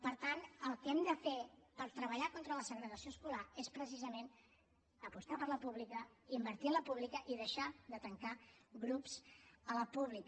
per tant el que hem de fer per treballar contra la segregació escolar és precisament apostar per la pública invertir en la pública i deixar de tancar grups a la pública